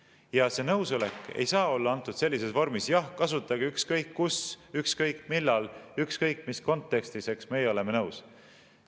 Ja see nõusolek ei saa olla antud sellises vormis: jah, kasutage ükskõik kus, ükskõik millal, ükskõik mis kontekstis, meie oleme nõus.